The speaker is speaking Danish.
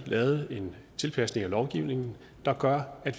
lavet en tilpasning af lovgivningen der gør at